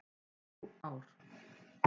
Þrjú ár.